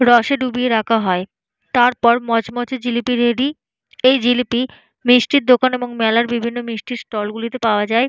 রসে ডুবিয়ে রাখা হয়। তারপর মচমচে জিলিপি রেডি । এই জিলিপি মিষ্টির দোকান এবং মেলার বিভিন্ন মিষ্টির ষ্টল গুলিতে পাওয়া যায়।